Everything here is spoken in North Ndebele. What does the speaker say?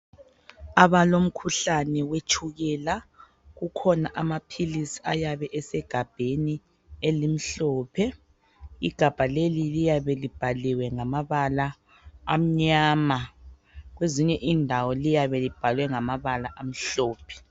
Abalomkhuhlane wetshukela, kukhona amapilisi ayabe esegabheni elimhlophe. Igabha leli liyabe libhaliwe ngamabala amnyama. kwezinye indawo liyabe libhalwe ngamabala amhlophe.